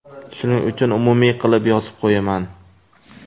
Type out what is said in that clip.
Shuning uchun umumiy qilib yozib qo‘yaman.